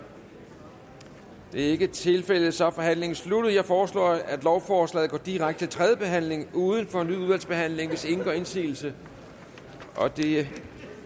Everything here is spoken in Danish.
det er ikke tilfældet så er forhandlingen sluttet jeg foreslår at lovforslaget går direkte til tredje behandling uden fornyet udvalgsbehandling hvis ingen gør indsigelse det